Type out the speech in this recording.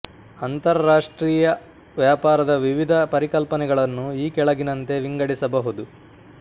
ಅಂತರ ರಾಷ್ಟ್ರೀಯ ವ್ಯಾಪಾರದ ವಿವಿಧ ಪರಿಕಲ್ಪನೆಗಳನ್ನು ಈ ಕೆಳಗಿನಂತೆ ವಿಂಗಡಿಸಬಹುದು